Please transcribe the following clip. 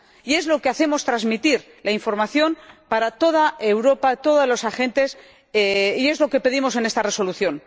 Y es lo que hacemos transmitir la información para toda Europa, todos los agentes, y es lo que pedimos en esta Resolución.